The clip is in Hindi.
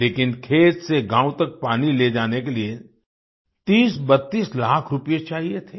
लेकिन खेत से गाँव तक पानी ले जाने के लिए 3032 लाख रूपए चाहिए थे